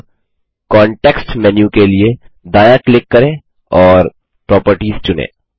अब context menu के लिए दायाँ क्लिक करें और प्रॉपर्टीज चुनें